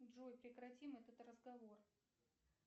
джой прекратим этот разговор